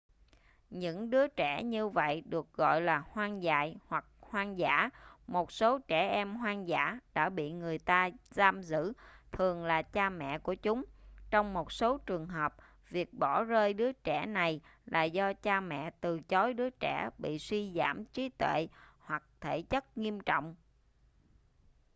những đứa trẻ như vậy được gọi là hoang dại hoặc hoang dã. một số trẻ em hoang dã đã bị người ta giam giữ thường là cha mẹ của chúng; trong một số trường hợp việc bỏ rơi đứa trẻ này là do cha mẹ từ chối đứa trẻ bị suy giảm trí tuệ hoặc thể chất nghiêm trọng